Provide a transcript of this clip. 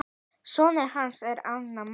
Sonur hans er Arnar Máni.